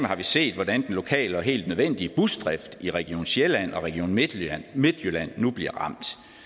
har vi set hvordan den lokale og helt nødvendige busdrift i region sjælland og region midtjylland midtjylland nu bliver